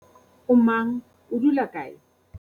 o mang, o dula kae?